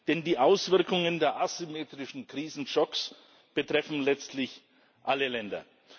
Denn die Auswirkungen der asymmetrischen Krisenschocks betreffen letztlich alle Länder.